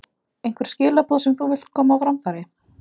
Einhver skilaboð sem þú vilt koma á framfæri?